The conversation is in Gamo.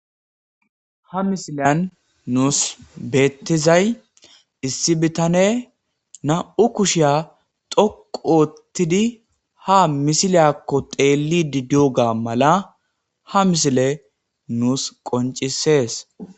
Ha misiliyan nuus beettizay issi bitane na'u kushiya toqu oottidi ha misiliyakko teeli di duoga mala ha misile nuus qoncisees.